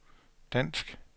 dansk